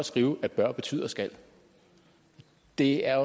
skrive at bør betyder skal det er